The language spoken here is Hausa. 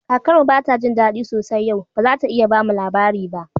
Kakar mu bata jin dadi sosai yau, ba zata iya bamu labari ba.